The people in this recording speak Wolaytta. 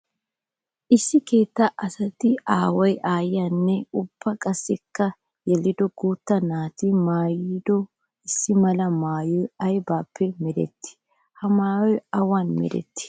Issi keetta asati aaway aayiyanne ubba qassikka tti yelido guutta naati maayido issi mala maayoy aybippe meretti? Ha maayoy awan meretti?